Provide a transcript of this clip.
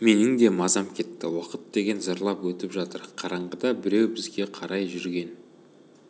менің де мазам кетті уақыт деген зырлап өтіп жатыр қараңғыда біреу бізге қарай жүрген